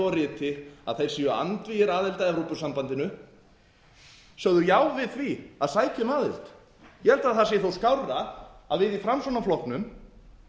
og riti að þeir séu andvígir aðild að evrópusambandinu sögðu já við því að sækja um aðild ég held að það sé þó skárra að við í framsóknarflokknum